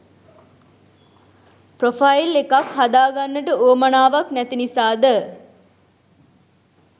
Profile එකක් හදාගන්නට උවමනාවක් නැති නිසාද?